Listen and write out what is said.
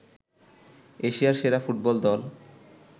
এশিয়ার সেরা ফুটবল দল